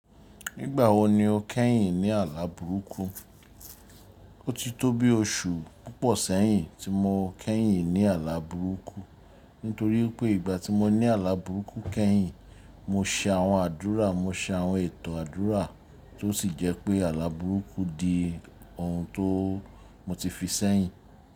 Nígbà wo ni o kẹ́yìn ní àlá burúkú? O ti tó bí oṣù púpọ̀ sẹ́yìn tí mo kẹ́yìn ní àlá burúkú, nítorí pé ìgbà tí mo ní àlá burúkú kẹ́yìn, mo se àwọn àdúrà, mo se àwọn ètò àdúrà tó sì jẹ́ pé àlá burúkú di ohun tó mo ti fi sẹ́yìn.